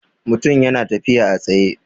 Mutum ya na tafiya a tsaye